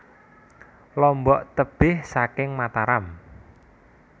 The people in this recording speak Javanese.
Lombok tebih saking Mataram